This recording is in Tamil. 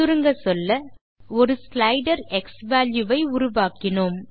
சுருங்கச்சொல்ல ஒரு ஸ்லைடர் க்ஸ்வால்யூ ஐ உருவாக்கினோம்